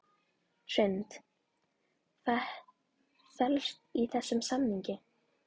Hrund: Hvað felst í þessum samningi?